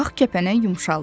Ağ kəpənək yumşaldı.